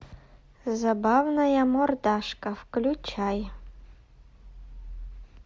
забавная мордашка включай